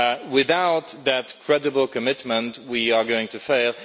Without that credible commitment we are going to fail.